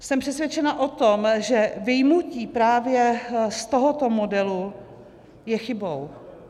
Jsem přesvědčena o tom, že vyjmutí právě z tohoto modelu je chybou.